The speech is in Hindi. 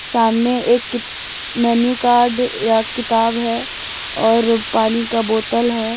सामने एक मेनू कार्ड या किताब है और पानी का बोतल है।